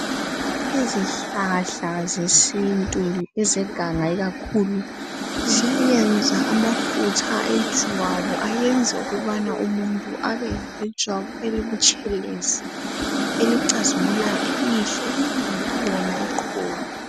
Izihlahla zesintu ezeganga ikakhulu, zenza amafutha ejwabu enza ukuba umuntu abelejwabu elibutshelezi, elicazimulayo elihle elingelalona iqhubu.